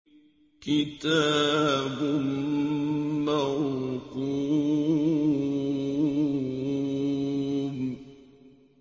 كِتَابٌ مَّرْقُومٌ